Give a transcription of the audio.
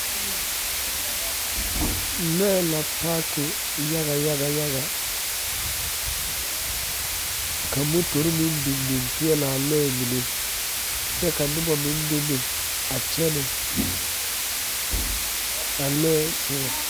Lɔɛ la paaki yaga yaga ka motore meŋ biŋ biŋ peɛɛlaa lɔɛ mine kyɛ ka noba meŋ bebe a kyɛnɛ a lɔɛ sugɔŋ.